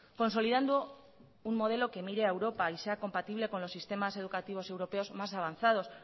consolidando un modelo que mire a europa y sea compatible con los sistemas educativos europeos más avanzados